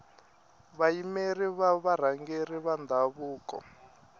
vayimeri va varhangeri va ndhavuko